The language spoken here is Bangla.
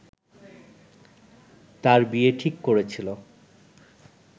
তার বিয়ে ঠিক করেছিল